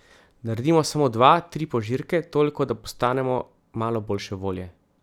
Naredimo samo dva, tri požirke, toliko da postanemo malo boljše volje.